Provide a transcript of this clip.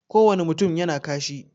Ko wane mutum yana kashi